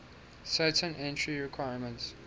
certain entry requirements